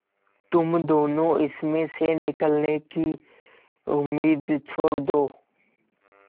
तुम दोनों इसमें से निकलने की उम्मीद छोड़ दो